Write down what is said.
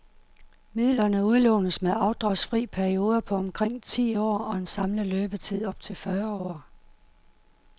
Midlerne udlånes med afdragsfri perioder på omkring ti år og en samlet løbetid op til fyrre år.